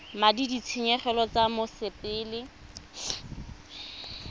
madi a ditshenyegelo tsa mosepele